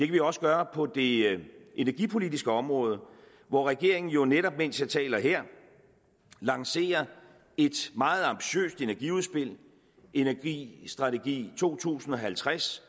vi også gøre på det energipolitiske område hvor regeringen jo netop mens jeg taler her lancerer et meget ambitiøst energiudspil energistrategi to tusind og halvtreds